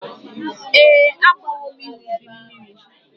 Ee, agbawo m ihe ubi mmiri.